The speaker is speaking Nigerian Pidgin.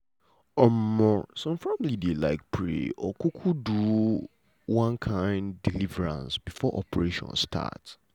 um some family dey like pray or um do um deliverance before operation start.